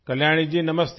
कल्याणी जी नमस्ते